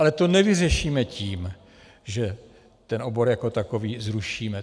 Ale to nevyřešíme tím, že ten obor jako takový zrušíme.